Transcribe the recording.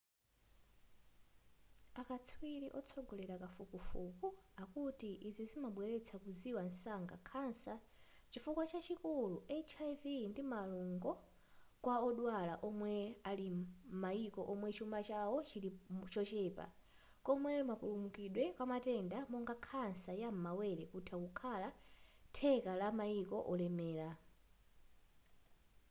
akatswiri otsogolera kafukufuku akuti izi zimabweretsa kuziwa mwansanga khansa chifuwa chachikulu hiv ndi malungo kwa odwala omwe ali m'mayiko omwe chuma chawo chili chochepa komwe mapulumukidwe kumatenda monga khansa ya m'mawere kutha kukhala theka la mayiko olemera